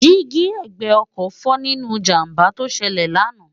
dí́gí ẹ̀gbẹ́ ọkọ̀ fọ́ nínú ìjàmbá tó ṣẹlẹ̀ lánàá